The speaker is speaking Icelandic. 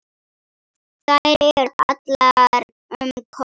Þær eru allar um Kol.